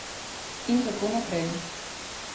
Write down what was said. In kako naprej.